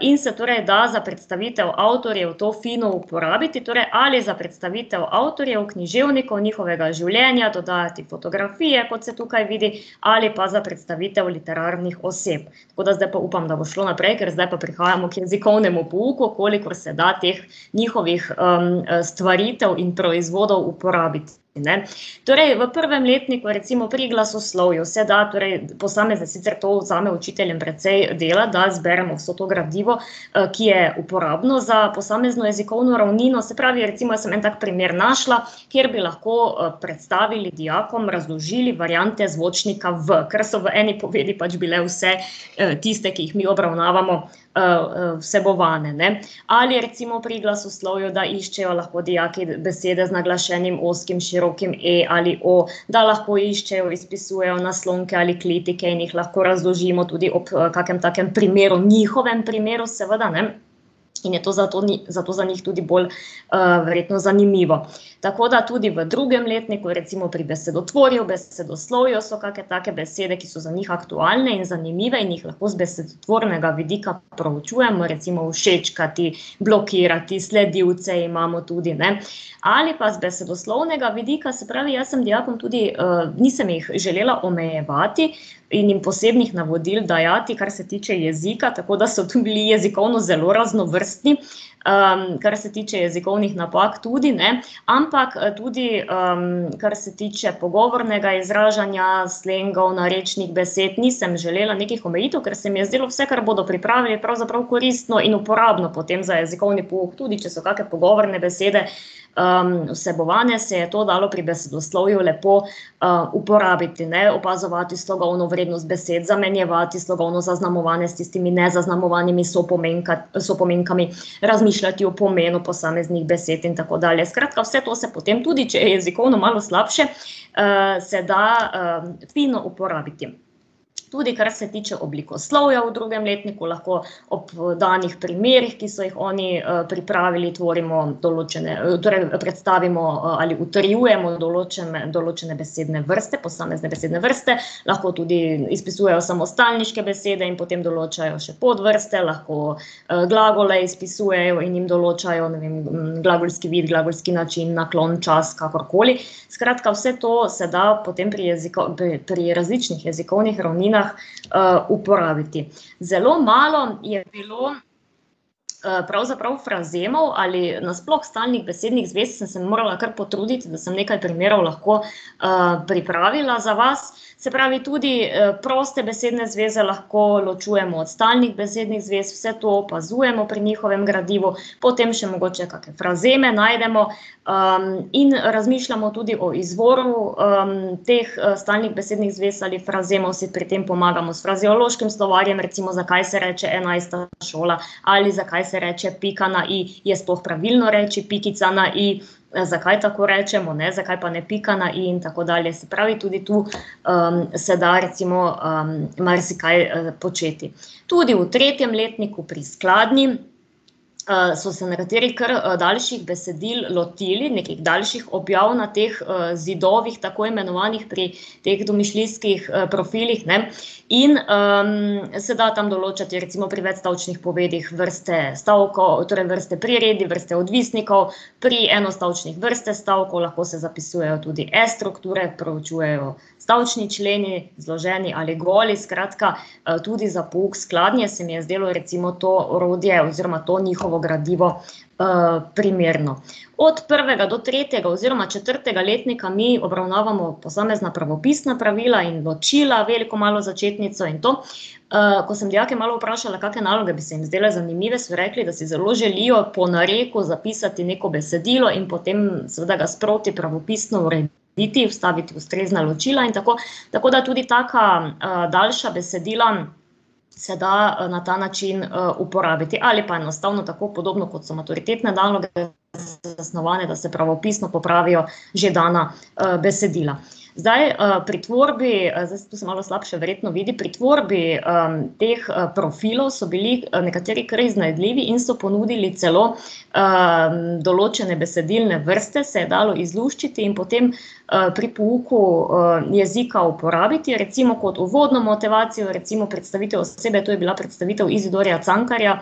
in se torej da za predstavitev avtorjev to fino uporabiti, torej ali za predstavitev avtorjev, književnikov, njihovega življenja, dodajati fotografije, kot se tukaj vidi, ali pa za predstavitev literarnih oseb. Tako da zdaj pa upam, da bo šlo naprej, ker zdaj pa prihajamo k jezikovnemu pouku, kolikor se da teh njihovih, stvaritev in proizvodov uporabiti, ne. Torej, v prvem letniku, recimo pri glasoslovju, se da torej posamezne, sicer to vzame učiteljem precej dela, da zberemo vse to gradivo, ki je uporabno za posamezno jezikovno ravnino, se pravi, recimo jaz sem en tak primer našla, kjer bi lahko, predstavili dijakom, razložili variante zvočnika v, ker so v eni povedi pač bile vse, tiste, ki jih mi obravnavamo, vsebovane, ne. Ali recimo pri glasoslovju, da iščejo lahko dijaki besede z naglašenim ozkim, širokim e ali o, da lahko iščejo, izpisujejo naslonke ali klitike in jih lahko razložimo tudi, ob kakem takem primeru, njihovim primeru, seveda, ne. In je to zato zato za njih bolj, verjetno zanimivo. Tako da tudi v drugem letniku, recimo pri besedotvorju, besedoslovju so kake take besede, ki so za njih aktualne in zanimive in jih lahko z besedotvornega vidika proučujemo, recimo všečkati, blokirati, sledilce imamo tudi, ne. Ali pa z besedoslovnega vidika, se pravi, jaz sem dijakom tudi, nisem jih želela omejevati in jim posebnih navodil dajati, kar se tiče jezika, tako da so tudi jezikovno zelo raznovrstni, kar se tiče jezikovnih napak tudi, ne, ampak tudi, kar se tiče pogovornega izražanja, slengov, narečnih besed, nisem želela nekih omejitev, ker se mi je zdelo vse, kar bodo pripravili, je pravzaprav koristno in uporabno potem za jezikovni pouk, tudi če so kake pogovorne besede, vsebovane, se je to dalo pri besedoslovju, lepo, uporabiti, ne, opazovati slogovno vrednost besed, zamenjevati slogovno zaznamovane s tistimi nezaznamovanimi sopomenkami, razmišljati o pomenu posameznih besed in tako dalje. Skratka, vse to se potem, tudi če je jezikovno malo slabše, se da, fino uporabiti. Tudi kar se tiče oblikoslovja v drugim letniku, lahko ob, danih primerih, ki so jih oni, pripravili, tvorimo določene, torej predstavimo, ali utrjujemo določene, določene besedne vrste, posamezne besedne vrste, lahko tudi izpisujejo tudi samostalniške besede in potem določajo še podvrste, lahko, glagole izpisujejo in jim določajo, ne vem, glagolski vidi, glagolski način, naklon, čas, kakorkoli. Skratka, vse to se da potem pri pri različnih jezikovnih ravninah, uporabiti. Zelo malo je bilo, pravzaprav frazemov ali nasploh stalnih besednih zvez, sem se morala kar potruditi, da sem nekaj primerov lahko, pripravila za vas. Se pravi, tudi, proste besedne zveze lahko ločujemo od stalnih besednih zvez, vse to opazujemo pri njihovim gradivu, potem še mogoče kake frazeme najdemo. in razmišljamo tudi o izvoru, teh, stalnih besednih zvez ali frazemov, si pri tem pomagamo s frazeološkim slovarjem, recimo, zakaj se reče enajsta šola ali zakaj se reče pika na i, je sploh pravilno reči pikica na i, zakaj tako rečemo, ne, zakaj pa ne pika na i in tako dalje. Se pravi tudi tu, se da recimo, marsikaj, početi. Tudi v tretjem letniku pri skladnji, so se nekateri kar, daljših besedil lotili, nekih daljših objav na teh, zidovih, tako imenovanih pri teh domišljijskih, profilih, ne. In, se da tam določati, recimo pri večstavčnih povedih vrste stavkov, torej vrste priredij, vrste odvisnikov, pri enostavčnih vrste stavkov, lahko se zapisujejo tudi S-strukture, proučujejo stavčni členi, zloženi ali goli, skratka, tudi za pouk skladnje se mi je zdelo recimo to orodje oziroma to njihovo gradivo, primerno. Od prvega do tretjega oziroma četrtega letnika mi obravnavamo posamezna pravopisna pravila in ločila, veliko, malo začetnico in to. ko sem dijake malo vprašala, kake naloge bi se jim zdajle zanimive, so rekli, da si zelo želijo po nareku zapisati neko besedilo in potem seveda ga sproti pravopisno urediti, vstaviti ustrezna ločila in tako. Tako da tudi taka, daljša besedila se da, na ta način, uporabiti ali pa enostavno tako, podobno kot so maturitetne naloge zasnovane, da se pravopisno popravijo že dana, besedila. Zdaj, pri tvorbi, zdaj to se malo slabše verjetno vidi, pri tvorbi, teh, profilov so bili nekateri kar iznajdljivi in so ponudili celo, določene besedilne vrste, se je dalo izluščiti, in potem, pri pouku, jezika uporabiti, recimo kot uvodno motivacijo, recimo predstavitev osebe, to je bila predstavitev Izidorja Cankarja,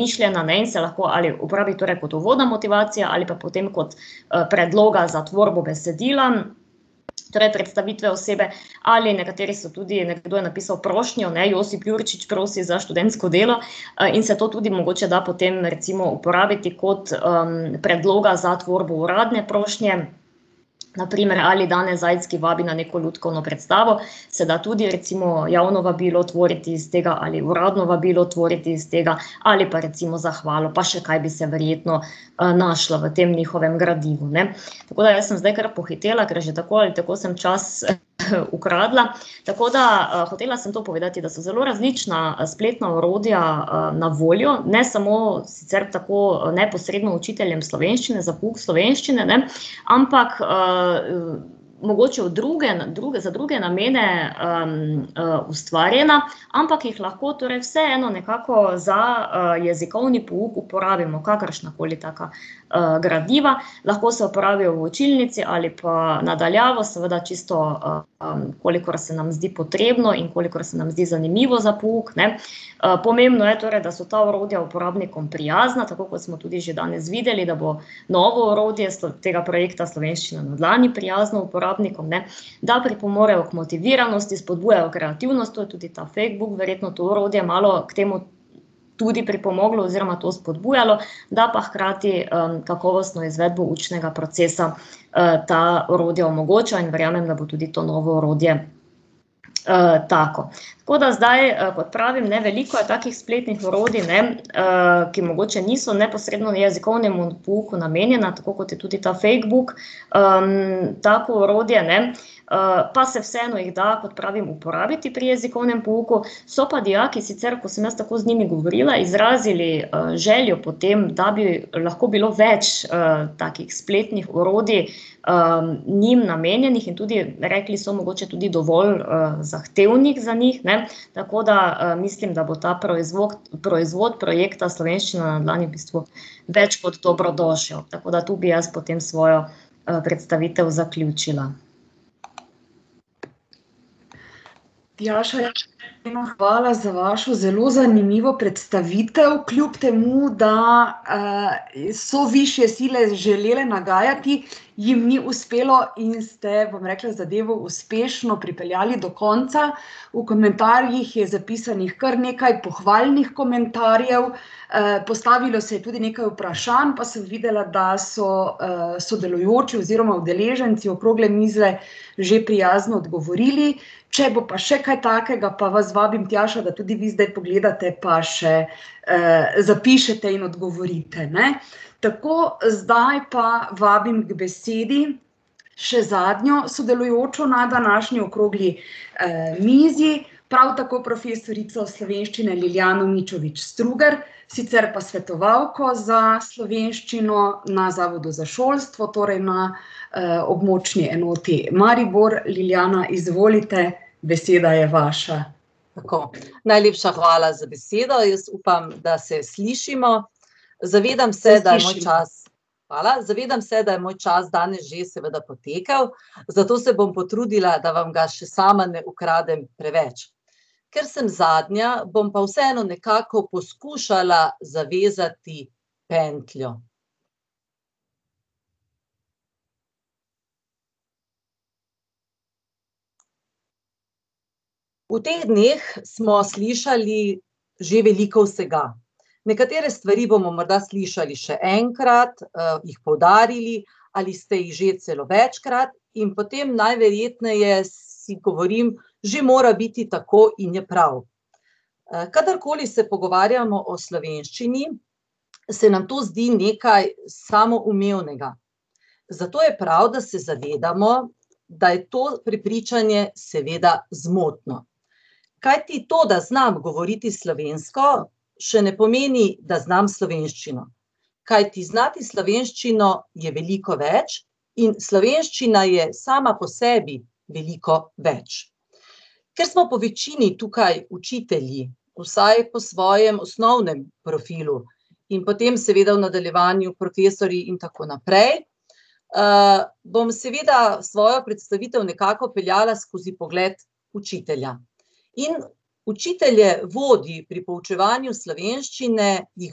mišljena, ne, in se lahko ali uporabi torej kot uvodna motivacija ali pa potem kot predloga za tvorbo besedila torej predstavitve osebe ali nekateri so tudi, nekdo je napisal prošnjo, ne, Josip Jurčič prosi za študentsko delo, in se to tudi mogoče da potem uporabiti kot, predloga za tvorbo uradne prošnje, na primer, ali Dane Zajc, ki vabi na neko lutkovno predstavo, se ta tudi recimo javno vabilo tvoriti iz tega ali uradno vabilo tvoriti iz tega ali pa recimo zahvalo, pa še kaj bi se verjetno, našlo v tem njihovem gradivu, ne. Tako da jaz sem zdaj kar pohitela, ker že tako ali tako samo čas, ukradla, tako da, hotela sem to povedati, da so zelo različna spletna orodja, na voljo, ne samo sicer tako neposredno učiteljem slovenščine, za pouk slovenščine, ne, ampak, mogoče v drugem, za druge namene, ustvarjena, ampak jih lahko torej vseeno nekako za, jezikovni pouk uporabimo, kakršnakoli taka, gradiva, lahko se uporablja v učilnici ali pa na daljavo, seveda čisto, kolikor se nam zdi potrebno in kolikor se nam zdi zanimivo za pouk, ne, pomembno je, torej, da so ta orodja uporabnikom prijazna, tako kot smo tudi že danes videli, da bo novo orodje tega projekta Slovenščina na dlani prijazno uporabnikom, ne, da pripomorejo k motiviranosti, spodbujajo kreativnost, to je tudi ta Fadebook verjetno, to orodje malo k temu tudi pripomoglo oziroma to spodbujalo, da pa hkrati, kakovostno izvedbo učnega procesa, ta orodja omogočajo in verjamem, da bo tudi to novo orodje, tako. Tako da zdaj, kot pravim, ne, veliko je takih spletnih orodij, ne, ki mogoče niso neposredno jezikovnemu pouku namenjena, tako kot je tudi ta Fadebook, tako orodje, ne, pa se vseeno jih da, kot pravim, uporabiti pri jezikovnem pouku, so pa dijaki sicer, ko sem jaz tako z njimi govorila, izrazili, željo po tem, da bi lahko bilo več, takih spletnih orodij, njim namenjenih, in tudi rekli so, mogoče tudi dovolj, zahtevnih za njih, ne, tako da, mislim, da bo ta proizvod projekta Slovenščina na dlani v bistvu več kot dobrodošel, tako da to bi jaz potem svojo, predstavitev zaključila. Tjaša, hvala za vašo zelo zanimivo predstavitev, kljub temu da, so višje sile želele nagajati, jim ni uspelo in ste, bom rekla, zadevo uspešno pripeljali do konca. V komentarjih je zapisanih kar nekaj pohvalnih komentarjev, postavilo se je tudi nekaj vprašanj, pa sem videla, da so, sodelujoči oziroma udeleženci okrogle mize že prijazno odgovorili. Če bo pa še kaj takega, pa vas vabim, Tjaša, da vi zdaj pogledate pa še, zapišete in odgovorite, ne. Tako, zdaj pa vabim k besedi še zadnjo sodelujočo na današnji okrogli, mizi, prav tako profesorico slovenščine, Ljiljano Mičovič Strugar, sicer pa svetovalko za slovenščino na Zavodu za šolstvo, torej na, območni enoti Maribor. Ljiljana, izvolite, beseda je vaša. Tako. Najlepša hvala za besedo, jaz upam, da se slišimo. Zavedam se, da je moj čas ... Se sliši. Hvala. Zavedam se, da je moj čas danes že seveda potekel, zato se bom potrudila, da vam ga še sama ne ukradem preveč. Ker sem zadnja, bom pa vseeno nekako poskušala zavezati pentljo. V teh dneh smo slišali že veliko vsega. Nekatere stvari bomo morda slišali še enkrat, jih poudarili, ali ste jih že celo večkrat in potem najverjetneje si govorim: "Že mora biti tako in je prav." kadarkoli se pogovarjamo o slovenščini, se nam to zdi nekaj samoumevnega. Zato je prav, da se zavedamo, da je to prepričanje seveda zmotno. Kajti to, da znam govoriti slovensko, še ne pomeni, da znam slovenščino. Kajti znati slovenščino je veliko več in slovenščina je sama po sebi veliko več. Ker smo po večini tukaj učitelji, vsaj po svojem osnovnem profilu, in potem seveda v nadaljevanju profesorji in tako naprej, bom seveda svojo predstavitev nekako peljala skozi pogled učitelja. In učitelje vodi pri poučevanju slovenščine, jih,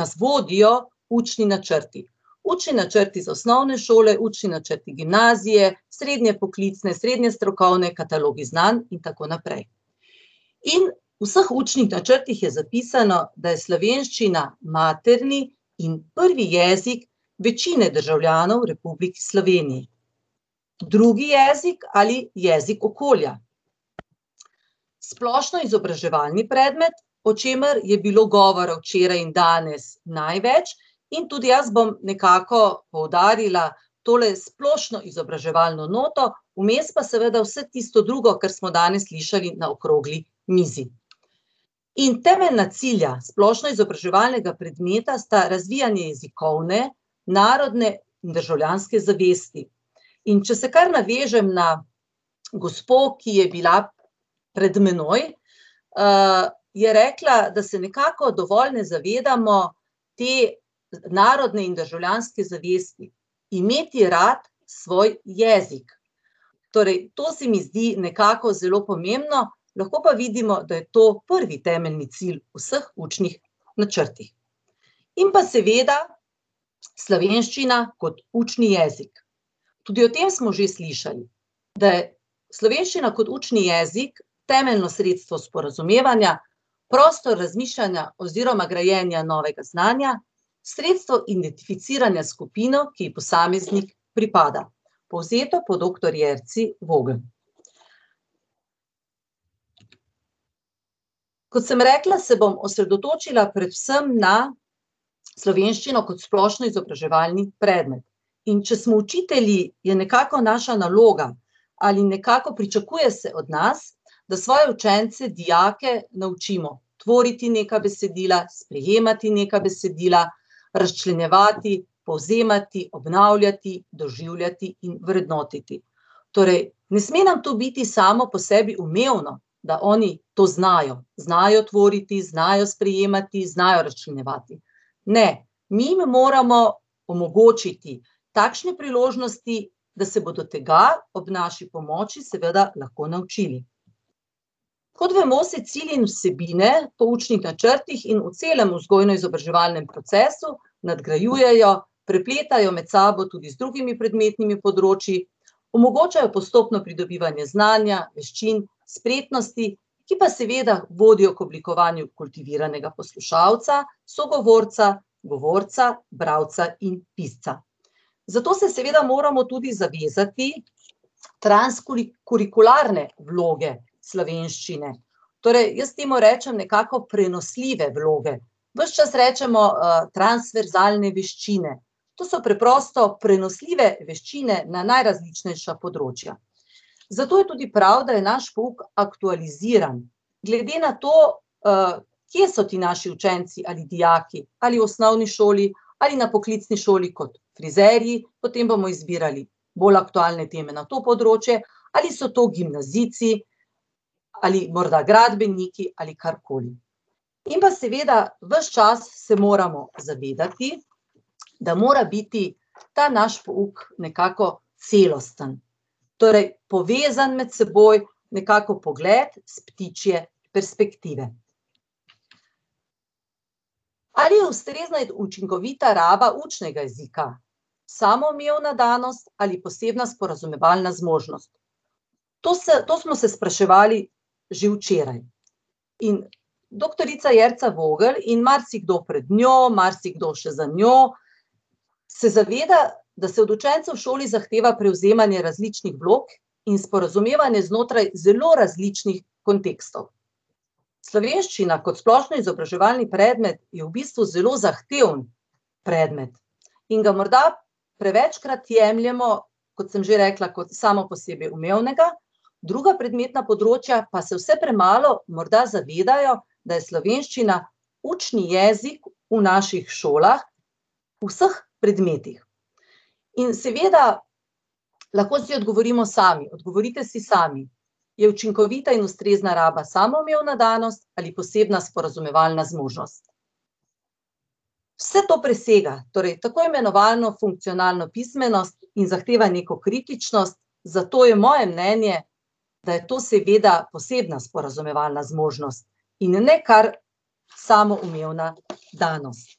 nas vodijo učni načrti. Učni načrt iz osnovne šole, učni načrti gimnazije, srednje poklicne, srednje strokovne, katalogi znanj in tako naprej. In v vseh učnih načrtih je zapisano, da je slovenščina materni in prvi jezik večine državljanov v Republiki Sloveniji, drugi jezik ali jezik okolja, splošnoizobraževalni predmet, o čemer je bilo govora včeraj in danes največ, in tudi jaz bom nekako poudarila tole splošnoizobraževalno noto, vmes pa seveda vse tisto drugo, kar smo danes slišali na okrogli mizi. In temeljna cilja splošnoizobraževalnega predmeta sta razvijanje jezikovne, narodne in državljanske zavesti. In če se kar navežem na gospo, ki je bila pred mano, je rekla, da se nekako dovolj ne zavedamo te narodne in državljanske zavesti. Imeti rad svoj jezik. Torej to se mi zdi nekako zelo pomembno, lahko pa vidimo, da je to prvi temeljni cilj v vseh učnih načrtih. In pa seveda slovenščina kot učni jezik, tudi o tem smo že slišali, da je slovenščina kot učni jezik temeljno sredstvo sporazumevanja, prostor razmišljanja oziroma grajenja novega znanja, sredstvo identificiranja s skupino, ki ji posameznik pripada. Povzeto po doktor Jerci Vogel. Kot sem rekla, se bom osredotočila predvsem na slovenščino kot splošnoizobraževalni predmet. In če smo učitelji, je nekako naša naloga ali nekako pričakuje se od nas, da svoje učence, dijake naučimo tvoriti neka besedila, sprejemati neka besedila, razčlenjevati, povzemati, obnavljati, doživljati in vrednotiti. Torej ne sme nam to biti samo po sebi umevno, da oni to znajo, znajo tvoriti, znajo sprejemati, znajo razčlenjevati. Ne, mi jim moramo omogočiti takšne priložnosti, da se bodo tega ob naši ponoči seveda naučili. Kot vemo, se cilji in vsebine po učnih načrtih in v celem vzgojno-izobraževalnem procesu nadgrajujejo, prepletajo med sabo tudi z drugimi predmetnimi področji, omogočajo postopno pridobivanje znanja, veščin, spretnosti, ki pa seveda vodijo k oblikovanju kontinuiranega poslušalca, sogovorca, govorca, bralca in pisca. Zato se seveda moramo tudi zavezati kurikularne vloge slovenščine. Torej, jaz temu rečem nekako prenosljive vloge. Ves čas rečemo, transverzalne veščine. To so preprosto prenosljive veščine na najrazličnejša področja. Zato je tudi prav, da je naš pouk aktualiziran. Glede na to, kje so ti naši učenci ali dijaki, ali v osnovni šoli ali na poklicni šoli kot frizerji, potem bomo izbirali bolj aktualne teme na to področje, ali so to gimnazijci ali morda gradbeniki ali karkoli. In pa seveda, ves čas se moramo zavedati, da mora biti ta naš pouk nekako celosten. Torej povezano med seboj, nekako pogled s ptičje perspektive. Ali je ustrezna in učinkovita raba učnega jezika samoumevna danost ali posebna sporazumevalna zmožnost? To se, to smo se spraševali že včeraj. In doktorica Jerca Vogel in marsikdo pred njo, marsikdo še za njo se zaveda, da se od učencev v šoli zahteva prevzemanje različnih vlog in sporazumevanje znotraj zelo različnih kontekstov. Slovenščina kot splošnoizobraževalni predmet je v bistvu zelo zahteven predmet in ga morda prevečkrat jemljemo, kot sem že rekla, kot samoposebiumevnega, druga predmetna področja pa se vse premalo morda zavedajo, da je slovenščina učni jezik v naših šolah v vseh predmetih. In seveda, lahko si odgovorimo sami, odgovorite si sami. Je učinkovita in ustrezna raba samoumevna danost ali posebna sporazumevalna zmožnost? Vse to presega torej tako imenovano funkcionalno pismenost in zahteva neko kritičnost, zato je moje mnenje, da je to seveda posebna sporazumevalna zmožnost in ne kar samoumevna danost.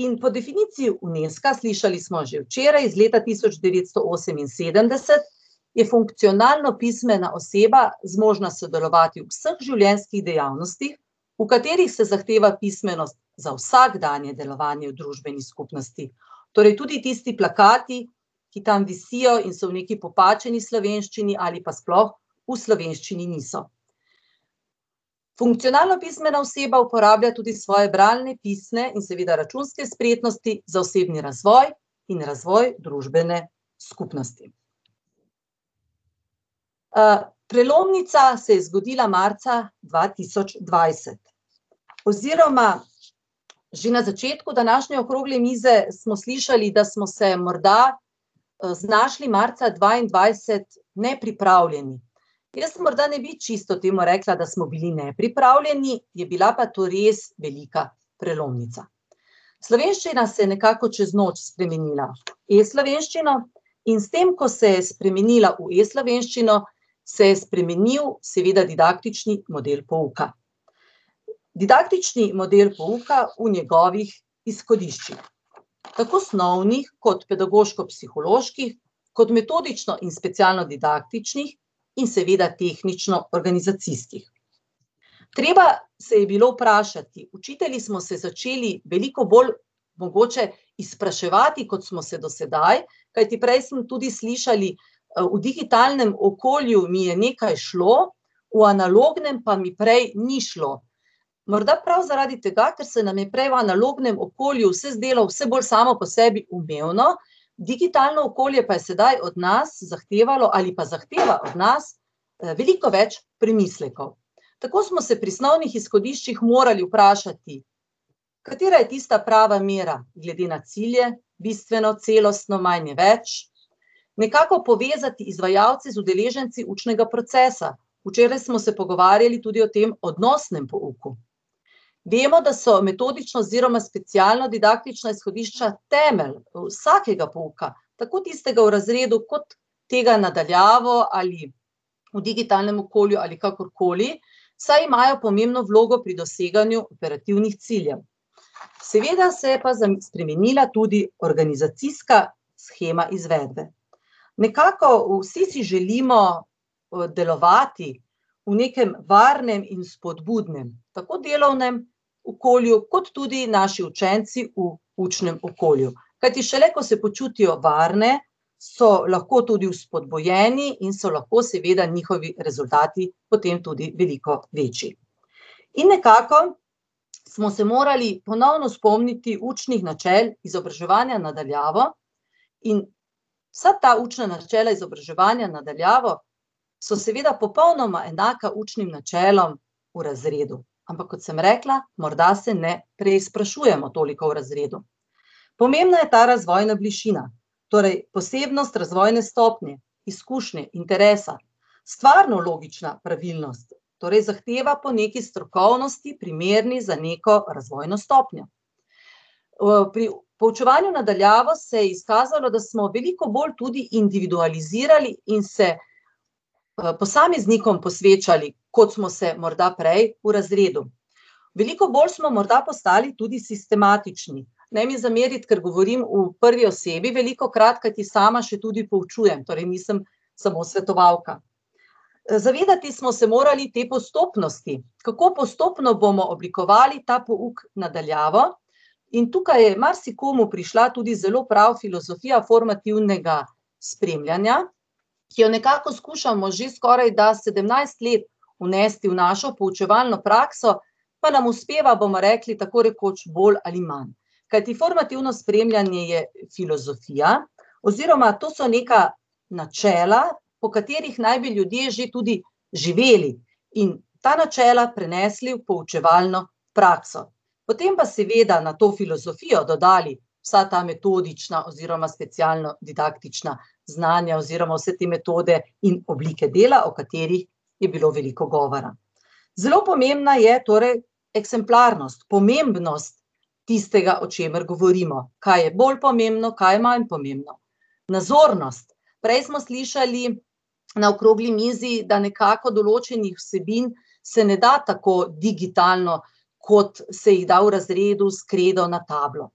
In po definiciji Unesca, slišali smo že včeraj, iz leta tisoč devetsto oseminsedemdeset, je funkcionalno pismena oseba zmožna sodelovati v vseh življenjskih dejavnostih, v katerih se zahteva pismenost za vsakdanje delovanje v družbeni skupnosti. Torej tudi tisti plakati, ki tam visijo in so v neki popačeni slovenščini ali pa sploh v slovenščini niso. Funkcionalno pismena oseba uporablja tudi svoje bralne, pisne in seveda računske spretnosti za osebni razvoj in razvoj družbene skupnosti. prelomnica se je zgodila marca dva tisoč dvajset. Oziroma že na začetku današnje okrogle mize smo slišali, da smo se morda, znašli marca dvaindvajset nepripravljeni. Jaz morda ne bi temu rekla, da smo bili čisto nepripravljeni, je bila pa to res velika prelomnica. Slovenščina se je nekako čez noč spremenila v e-slovenščino in s tem, ko se je spremenila v e-slovenščino, se je spremenil seveda didaktični model pouka. Didaktični model pouka v njegovih izhodiščih, tako snovnih kot pedagoško-psiholoških kot metodično in specialnodidaktičnih in seveda tehničnoorganizacijskih. Treba se je bilo vprašati, učitelji smo se začeli veliko bolj mogoče izpraševati, kot smo se do sedaj, kajti prej smo tudi slišali: v digitalnem okolju mi je nekaj šlo, v analognem pa mi prej ni šlo." Morda prav zaradi tega, ker se nam je prej v analognem okolju vse zdelo vse bolj samoposebiumevno, digitalno okolje pa je sedaj od nas zahtevalo ali pa zahteva od nas, veliko več premislekov. Tako smo se pri snovnih izhodiščih morali vprašati, katera je tista prava mera glede na cilje, bistveno, celostno, manj je več, nekako povezati izvajalce z udeleženci učnega procesa. Včeraj smo se pogovarjali tudi o tem odnosnem pouku. Vemo, da so metodično oziroma specialnodidaktična izhodišča temelj vsakega pouka, tako tistega v razredu kot tega na daljavo ali v digitalnem okolju ali kakorkoli, saj imajo pomembno vlogo pri doseganju operativnih ciljev. Seveda se je pa spremenila tudi organizacijska shema izvedbe. Nekako vsi si želimo delovati v nekam varnem in vzpodbudnem, tako delovnem okolju kot tudi naši učenci v učnem okolju. Kajti šele ko se počutijo varne, so lahko tudi vzpodbujeni in so lahko seveda njihovi rezultati potem tudi veliko večji. In nekako smo se morali ponovno spomniti učnih načel izobraževanja na daljavo in vsa ta učna načela izobraževanja na daljavo so seveda popolnoma enaka učnim načelom v razredu, ampak kot sem rekla, morda se ne preizprašujemo toliko v razredu. Pomembna je ta razvojna višina, torej posebnost razvojne stopnje, izkušnje, interesa, stvarno-logična pravilnost, torej zahteva po nekaj strokovnosti, primerni za neko razvojno stopnjo. pri poučevanju na daljavo se je izkazalo, da smo veliko bolj tudi individualizirali in se, posameznikom posvečali, kot smo se morda prej v razredu. Veliko bolj smo morda postali tudi sistematični. Ne mi zameriti, ker govorim v prvi osebi velikokrat, kajti sama še tudi poučujem, torej nisem samo svetovalka. Zavedati smo se morali te postopnosti, kako postopno bomo oblikovali ta pouk na daljavo, in tukaj je marsikomu prišla tudi zelo prav filozofija formativnega spremljanja, ki jo nekako skušamo že skorajda sedemnajst let vnesti v našo poučevalno prakso, pa nam uspeva, bomo rekli, tako rekoč bolj ali manj. Kajti formativno spremljanje je filozofija oziroma to so neka načela, po katerih naj bi ljudje že tudi živeli in ta načela prenesli v poučevalno prakso. Potem pa, seveda, na to filozofijo dodali vsa ta metodična oziroma specialnodidaktična znanja oziroma vse te metode in oblike dela, o katerih je bilo veliko govora. Zelo pomembna je torej ekspemplarnost, pomembnost tistega, o čemer govorimo, kaj je bolj pomembno, kaj je manj pomembno. Nazornost, prej smo slišali na okrogli mizi, da nekako določenih vsebin se ne da tako digitalno, kot se jih da v razredu s kredo na tablo.